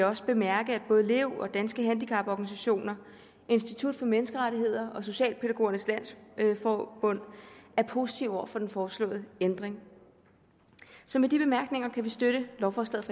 også bemærke at både lev og danske handicaporganisationer institut for menneskerettigheder og socialpædagogernes landsforbund er positive over for den foreslåede ændring så med de bemærkninger kan vi støtte lovforslaget